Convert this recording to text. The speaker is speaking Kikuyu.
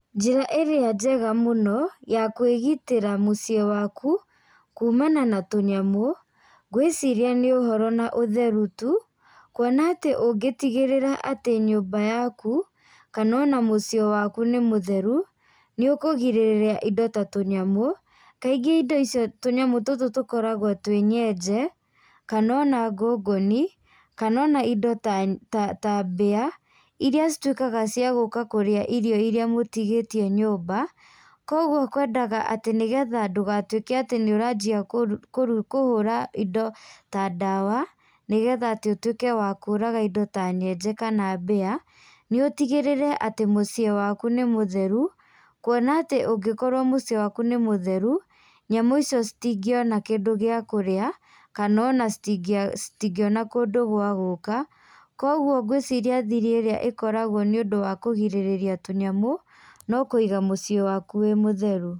Njĩra ĩrĩa njega mũno, ya kwĩgitĩra mũciĩ waku, kumana na tũnyamũ, ngwĩciria nĩ ũhoro na ũtheru tu, kuona atĩ ũngĩtigĩrĩra atĩ nyumba yaku, kana ona mũciĩ waku nĩ mũtheru, nĩũkũgirĩrĩria indo ta tũnyamu, kaingĩ indo icio tũnyamũ tũtũ tũkoragwo twĩ nyenje, kana ona ngũngũni, kana ona indo ta nya ta ta mbĩa, iria cituĩkaga cia gũka kũrĩa irio mũtigĩtie nyumba, koguo kwendaga atĩ nĩgetha ndũgatuĩke atĩ nĩũranjia kuru kuru kũhũra indo ta ndawa, nĩgetha atĩ ũtuĩke wa kũraga indo ta nyenje kana mbĩa, nĩ ũtigĩrĩre atĩ mũciĩ waku nĩ mũtheru, kuona atĩ ũngĩkorwo mũciĩ waku mĩ mũtheru. nyamũ icio citingĩona kindũ gĩa kũrĩa kana ona citi citingĩona kũndũ gwa gũka, koguo ngwĩciria thiri irĩa ĩkoragwo nĩũndũ wa kũgirĩrĩria tũnyamu, no kũiga mũciĩ waku wĩ mũtheru.